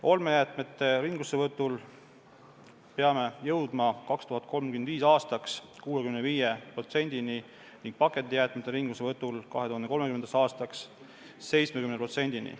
Olmejäätmete ringlussevõtul peame jõudma 2035. aastaks 65%-ni ning pakendijäätmete ringlussevõtul 2030. aastaks 70%-ni.